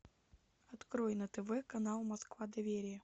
открой на тв канал москва доверие